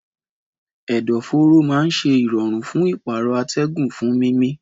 Ẹ̀dọ̀fóró máa ń ṣe ìrọ̀rùn fún ìpààrọ̀ atẹ́gùn fún mímí.